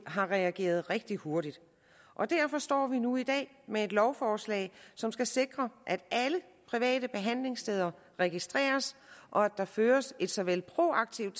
har reageret rigtig hurtigt og derfor står vi nu i dag med et lovforslag som skal sikre at alle private behandlingssteder registreres og at der føres et såvel proaktivt